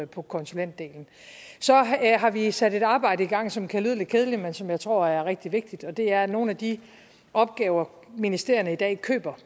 på konsulentdelen vi har sat et arbejde i gang som kan lyde lidt kedeligt men som jeg tror er rigtig vigtigt og det er at nogle af de opgaver ministerierne i dag køber